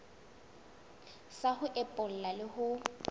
sa ho epolla le ho